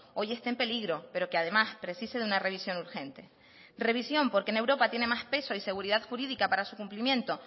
hoy esté en peligro pero que además precise de una revisión urgente revisión porque en europa tiene más peso y seguridad jurídica para su cumplimiento